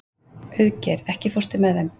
Auðgeir, ekki fórstu með þeim?